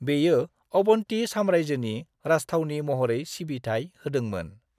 बेयो अवन्ती साम्रायजोनि राजथावनि महरै सिबिथाइ होदोंमोन।